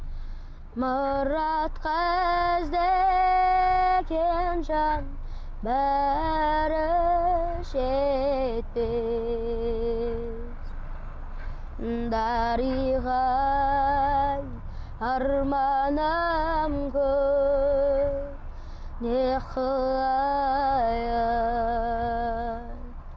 мұратқа іздеген жан бәрі жетпес дариға ай арманым көп не қылайын